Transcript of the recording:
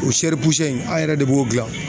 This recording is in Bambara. O in an yɛrɛ de b'o gilan.